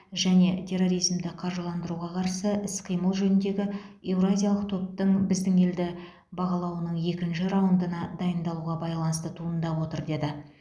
және терроризмді қаржыландыруға қарсы іс қимыл жөніндегі еуразиялық топтың біздің елді бағалауының екінші раундына дайындалуға байланысты туындап отыр деді